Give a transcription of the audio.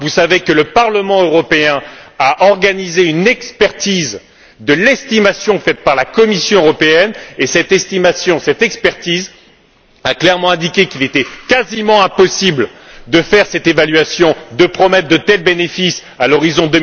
Vous savez que le Parlement européen a procédé à une expertise de l'estimation faite par la Commission européenne, et que cette expertise a clairement indiqué qu'il était quasiment impossible de faire cette évaluation et de promettre de tels bénéfices à l'horizon